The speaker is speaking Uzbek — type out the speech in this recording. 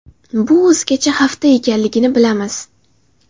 Bu o‘zgacha hafta ekanligini bilamiz.